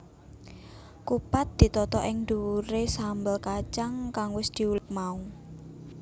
Kupat ditata ing dhuwuré sambel kacang kang wis diulek mau